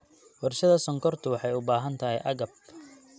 Warshada sonkortu waxay u baahan tahay agab.